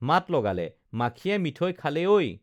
মাত লগালে মাখিয়ে মিঠৈ খালে ঐ